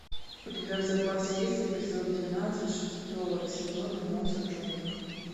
у тебя в запасе есть эпизод двенадцать шестого сезона моцарт в джунглях